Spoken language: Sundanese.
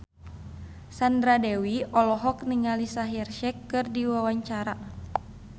Sandra Dewi olohok ningali Shaheer Sheikh keur diwawancara